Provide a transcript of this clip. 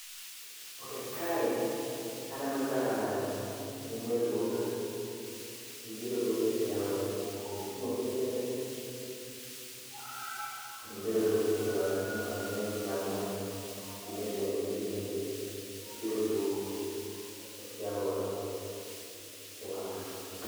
Ok, kae aneno ka. mine luoko. Gibiro luoko e tie aora, gitingo besende to gibiro luoko e tie aora. Aneno mine kagin ang'wen gi beshende, gi beshende, gibiro luoko e tie aora. Erokamano